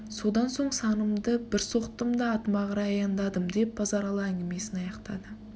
содан соң санымды бір соқтым да атыма қарай аяндадым деп базаралы әңгімесін аяқтады